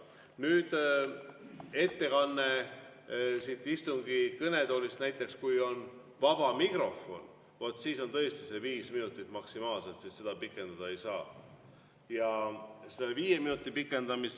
Nüüd, kui ettekanne siit kõnetoolist on näiteks siis, kui on vaba mikrofon, vaat siis on tõesti viis minutit maksimaalselt, seda pikendada ei saa.